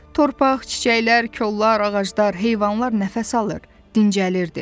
Torpaq, çiçəklər, kollar, ağaclar, heyvanlar nəfəs alır, dincəlirdi.